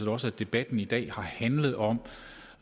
også at debatten i dag har handlet om